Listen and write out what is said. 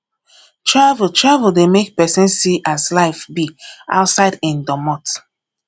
travel travel dey make pesin see as life be outside im domot